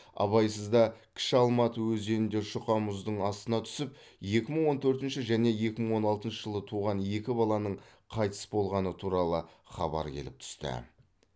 абайсызда кіші алматы өзенінде жұқа мұздың астына түсіп екі мың он төртінші және екі мың он алтыншы жылы туған екі баланың қайтыс болғаны туралы хабар келіп түсті